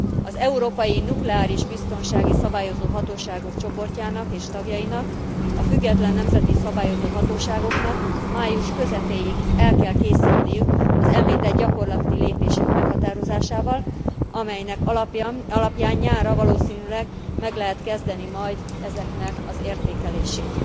Az európai nukleáris biztonsági szabályozó hatóságok csoportjának és tagjainak a független nemzeti szabályozó hatóságoknak május közepéig el kell készülniük az említett gyakorlati lépések meghatározásával, amelynek alapján nyárra valószínűleg meg lehet kezdeni majd ezeknek az értékelését.